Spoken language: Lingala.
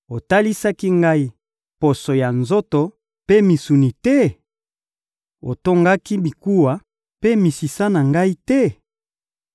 Olatisaki ngai poso ya nzoto mpe misuni te? Otongaki mikuwa mpe misisa na ngai te?